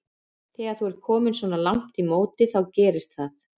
Þegar þú ert kominn svona langt í móti þá gerist það.